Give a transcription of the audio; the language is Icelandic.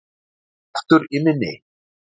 Aldeilis kraftur í minni!